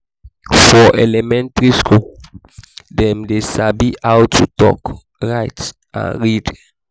for elementary school dem de sabi how to talk write and read